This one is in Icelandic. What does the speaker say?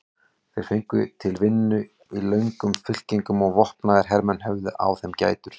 Þeir gengu til vinnu í löngum fylkingum og vopnaðir hermenn höfðu á þeim gætur.